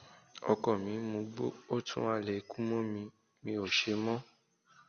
ọkọ mi ń mugbó ó tún ń halẹ ikú mọ mi mi ò ṣe mọ